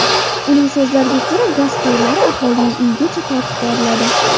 Uning so‘zlariga ko‘ra, gaz quvurlari aholining uyigacha tortib boriladi.